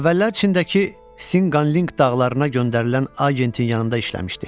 Əvvəllər Çindəki Sinqanlinq dağlarına göndərilən agentin yanında işləmişdi.